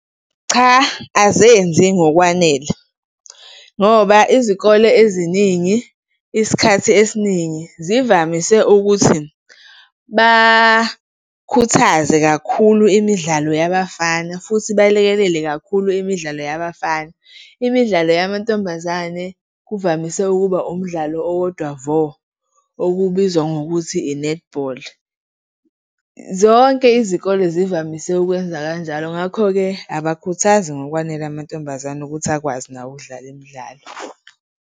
Cha, azenzi ngokwanele ngoba izikole eziningi, isikhathi esiningi zivamise ukuthi bakhuthaze kakhulu imidlalo yabafana futhi balekelele kakhulu imidlalo yabafana. Imidlalo yamantombazane kuvamise ukuba umdlalo owodwa vo, okubizwa ngokuthi inethibholi. Zonke izikole zivamise ukwenza kanjalo, ngakho-ke abakhuthazi ngokwanele amantombazane ukuthi akwazi nawo ukudlala imidlalo